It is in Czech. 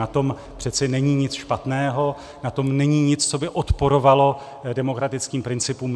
Na tom přece není nic špatného, na tom není nic, co by odporovalo demokratickým principům.